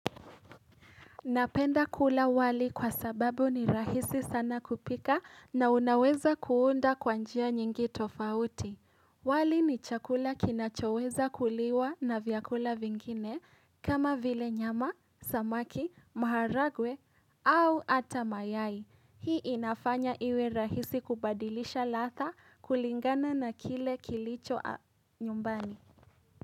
Napenda kula wali kwa sababu ni rahisi sana kupika na unaweza kuunda kwa njia nyingi tofauti. Wali ni chakula kinachoweza kuliwa na vyakula vingine kama vile nyama, samaki, maharagwe au ata mayai. Hii inafanya iwe rahisi kubadilisha ladha kulingana na kile kilicho nyumbani.